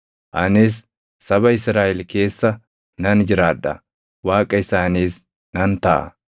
Anis saba Israaʼel keessa nan jiraadha; Waaqa isaaniis nan taʼa.